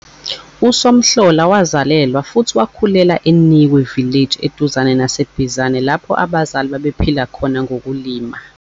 USomhlola wazalelwa futhi wakhulela e-Nikwe Village eduzane naseBizana lapho abazali babephila khona ngokulima.